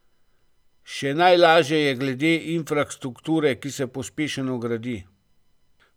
Še najlaže je glede infrastrukture, ki se pospešeno gradi.